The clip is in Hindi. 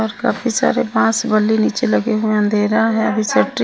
और काफी सारे बास बलि नीचे लगे हुए अंधेरा है अभी सेंटरिंग --